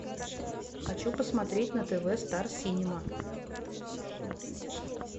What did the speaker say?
хочу посмотреть на тв стар синема